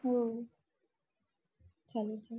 हो चालेल चालेल